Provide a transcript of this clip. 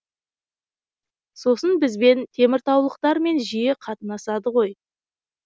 сосын бізбен теміртаулықтармен жиі қатынасады ғой